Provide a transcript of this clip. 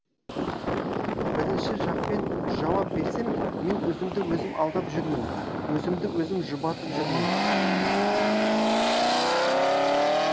бірінші жақпен жауап берсем мен өзімді өзім алдап жүрмін өзімді өзім жұбатып жүрмін